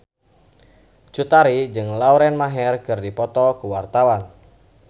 Cut Tari jeung Lauren Maher keur dipoto ku wartawan